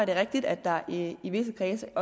er rigtigt at der i i visse kredse